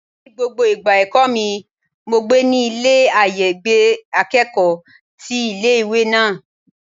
Ní gbogbo ìgbà ẹ̀kọ́ mi, mo gbé ní ilé àyágbé akẹ́kọ̀ọ́ ti ilé ìwé náà.